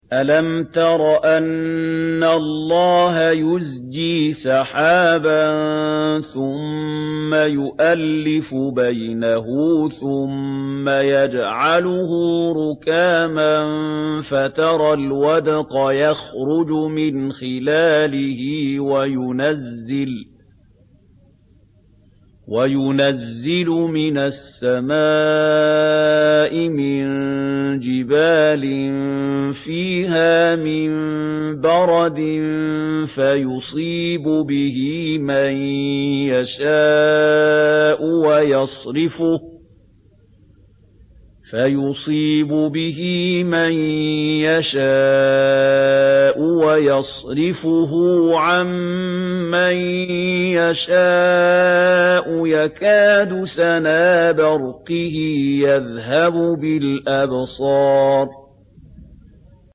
أَلَمْ تَرَ أَنَّ اللَّهَ يُزْجِي سَحَابًا ثُمَّ يُؤَلِّفُ بَيْنَهُ ثُمَّ يَجْعَلُهُ رُكَامًا فَتَرَى الْوَدْقَ يَخْرُجُ مِنْ خِلَالِهِ وَيُنَزِّلُ مِنَ السَّمَاءِ مِن جِبَالٍ فِيهَا مِن بَرَدٍ فَيُصِيبُ بِهِ مَن يَشَاءُ وَيَصْرِفُهُ عَن مَّن يَشَاءُ ۖ يَكَادُ سَنَا بَرْقِهِ يَذْهَبُ بِالْأَبْصَارِ